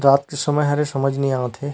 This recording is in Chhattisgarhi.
रात के समय हरे समझ नई आत हे। --